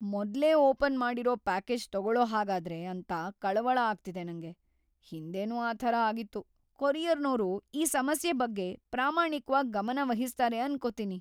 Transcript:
ಮೊದ್ಲೇ ಓಪನ್‌ ಮಾಡಿರೋ ಪ್ಯಾಕೇಜ್‌ ತಗೊಳೋಹಾಗಾದ್ರೆ ಅಂತ ಕಳವಳ ಆಗ್ತಿದೆ ನಂಗೆ, ಹಿಂದೆನೂ ಆ ಥರ ಆಗಿತ್ತು. ಕೊರಿಯರ್‌ನೋರು ಈ ಸಮಸ್ಯೆ ಬಗ್ಗೆ ಪ್ರಾಮಾಣಿಕ್ವಾಗ್ ಗಮನವಹಿಸ್ತಾರೆ ಅನ್ಕೊತೀನಿ. ‌